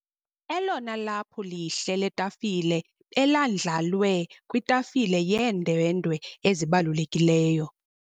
Elona laphu lihle letafile belandlalwe kwitafile yeendwendwe ezibalulekileyo.